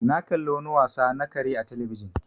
Na ƙalla wani wasa na kare a telebijin